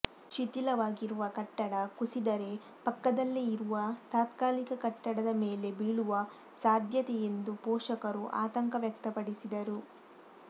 ಶಿಥಿಲವಾಗಿರುವ ಕಟ್ಟಡ ಕುಸಿದರೆ ಪಕ್ಕದಲ್ಲೇ ಇರುವ ತಾತ್ಕಾಲಿಕ ಕಟ್ಟಡದ ಮೇಲೆ ಬೀಳುವ ಸಾಧ್ಯತೆ ಎಂದು ಪೋಷಕರು ಆತಂಕ ವ್ಯಕ್ತಪಡಿಸಿದರು